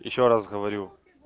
ещё раз говорю